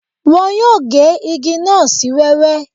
Wọn yóò gé igi náà sí wẹ́wẹ́